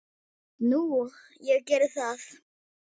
Nú, ég gerði það.